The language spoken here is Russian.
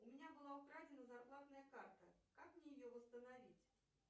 у меня была украдена зарплатная карта как мне ее восстановить